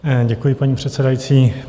Děkuji, paní předsedající.